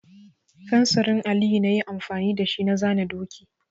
Fensirin Aliyu na yi amfani da shi na zana doki.